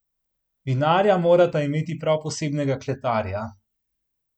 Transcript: Vinarja morata imeti prav posebnega kletarja.